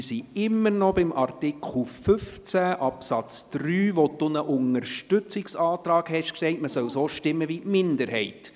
Wir sind immer noch bei Artikel 15 Absatz 3, zu dem Sie einen Unterstützungsantrag gestellt haben, wonach man so stimmen solle wie die Minderheit.